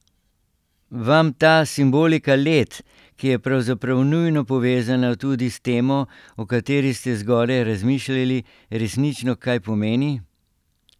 Vam ta simbolika let, ki je pravzaprav nujno povezana tudi s temo, o kateri ste zgoraj razmišljali, resnično kaj pomeni?